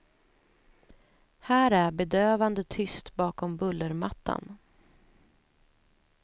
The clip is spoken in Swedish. Här är bedövande tyst bakom bullermattan.